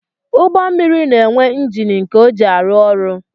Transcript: Ụgbọmmiri na-enwe njini nke ọ ji arụ ọrụ